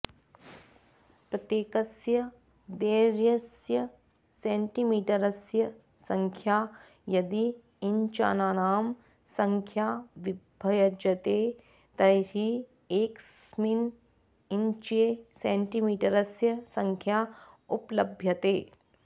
प्रत्येकस्य दैर्घ्यस्य सेण्टीमीटरस्य संख्या यदि इञ्चानां संख्या विभज्यते तर्हि एकस्मिन् इञ्चे सेण्टीमीटरस्य संख्या उपलभ्यते